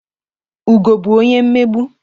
Ugo bụ onye mmegbu.